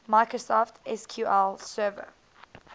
microsoft sql server